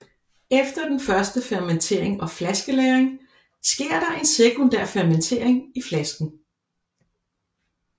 Efter den første fermentering og flaskelagring sker der en sekundær fermentering i flasken